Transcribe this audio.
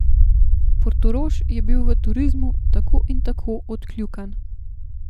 Portorož je v turizmu tako in tako odkljukan.